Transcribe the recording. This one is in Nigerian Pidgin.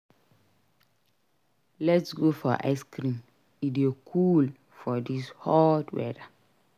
Let s go for ice cream; e dey cool for this hot weather.